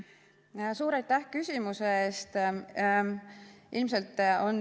Suur aitäh küsimuse eest!